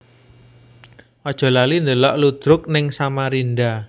Ojo lali ndelok ludruk ning Samarinda